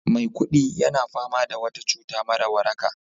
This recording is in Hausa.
Maikudi yana fama da wata cuta mara waraka